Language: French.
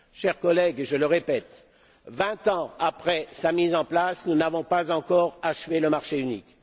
Chers collègues, je le répète, vingt ans après sa mise en place, nous n'avons pas encore achevé le marché unique.